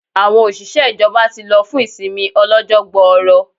Àwọn òṣìṣẹ́ ìjọba ti lọ fún ìsinmi ọlọ́jọ́ gbooro